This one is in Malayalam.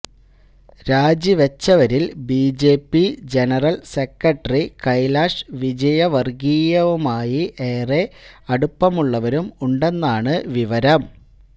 രാജിവെച്ചവരിൽ BJP BJP general secretary Kailash വിജയവർഗിയയുമായി ഏറെ അടുപ്പമുള്ളവരും ഉണ്ടെന്നാണ് വിവരം